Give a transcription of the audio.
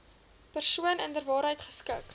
persoon inderwaarheid geskik